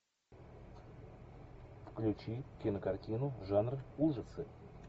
включи кинокартину жанр ужасы